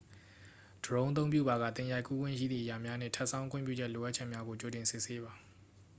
ဒရုန်းအသုံးပြုပါက သင်ရိုက်ကူးခွင့်ရှိသည့် အရာများနှင့် ထပ်ဆောင်း ခွင့်ပြုချက် လိုအပ်ချက်များကို ကြိုတင်စစ်ဆေးပါ